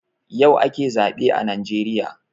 Yau ake zaɓe a najeriya